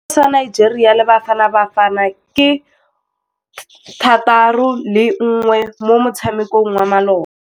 Sekôrô sa Nigeria le Bafanabafana ke 3-1 mo motshamekong wa malôba.